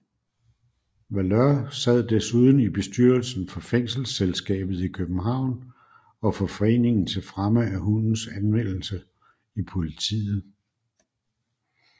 Valeur sad desuden i bestyrelsen for Fængelsselskabet i København og for Foreningen til Fremme af Hundens Anvendelse i Politiet